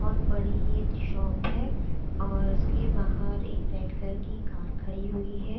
बहोत बड़ी ये शॉप है और उसके बाहर रेड एक कलर की कार खड़ी हुई है।